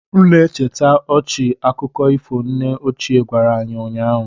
M na-echeta ọchị akụkọ ifo nne ochie gwara anyị ụnyaahụ